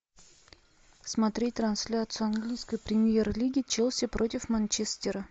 смотреть трансляцию английской премьер лиги челси против манчестера